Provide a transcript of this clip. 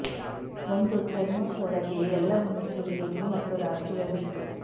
ಒಂದು ಥರ್ಮೋಸ್ ಒಳಗೆ ಎಲ್ಲವನ್ನೂ ಸುರಿಯಿರಿ ಮತ್ತು ರಾತ್ರಿಯ ಬಿಟ್ಟು